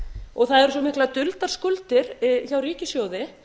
og það eru svo miklar duldar skuldir hjá ríkissjóði